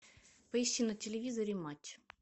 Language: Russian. поищи на телевизоре матч